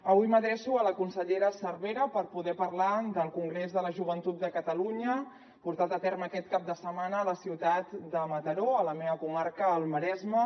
avui m’adreço a la consellera cervera per poder parlar del congrés de la joventut de catalunya portat a terme aquest cap de setmana a la ciutat de mataró a la meva comarca al maresme